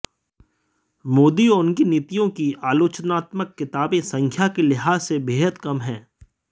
मोदी और उनकी नीतियों की आलोचनात्मक किताबें संख्या के लिहाज से बेहद कम हैं